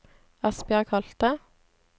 Asbjørg Holthe